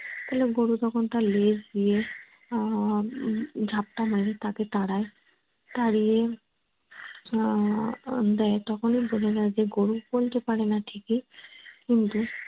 তালে গরু তখন তার লেজ দিয়ে আহ ঝাপটা মারে তাকে তাড়ায়। তাড়িয়ে আহ দেয় তখনেই বোঝা যায় গরু বলতে পারে না ঠিকই কিন্তু